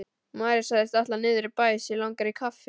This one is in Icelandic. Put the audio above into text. María sagðist ætla niður í bæ, sig langaði í kaffi.